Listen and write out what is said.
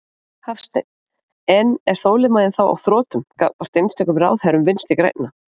Hafsteinn: En er þolinmæðin þá á þrotum gagnvart einstökum ráðherrum Vinstri-grænna?